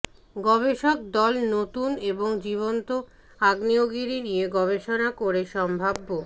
গবেষক দল নতুন এবং জীবন্ত আগ্নেয়গিরি নিয়ে গবেষণা করে সম্ভাব্য